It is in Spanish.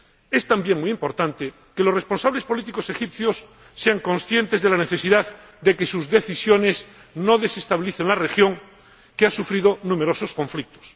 Es también muy importante que los responsables políticos egipcios sean conscientes de la necesidad de que sus decisiones no desestabilicen la región, que ha sufrido numerosos conflictos.